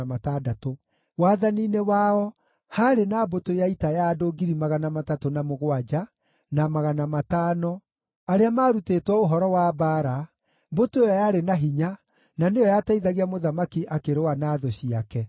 Wathani-inĩ wao haarĩ na mbũtũ ya ita ya andũ 307,500 arĩa maarutĩtwo ũhoro wa mbaara, mbũtũ ĩyo yarĩ na hinya na nĩyo yateithagia mũthamaki akĩrũa na thũ ciake.